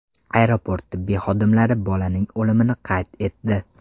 Aeroport tibbiy xodimlari bolaning o‘limini qayd etdi.